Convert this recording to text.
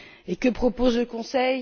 Et que propose le Conseil?